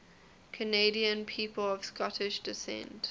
canadian people of scottish descent